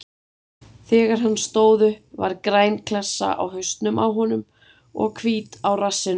Þegar hann stóð upp var græn klessa á hausnum á honum og hvít á rassinum.